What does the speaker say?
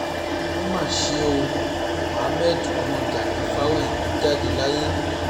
ó mà ṣe o mohammed ọmọ gani fawéhínmí jáde láyé